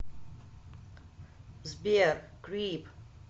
сбер крип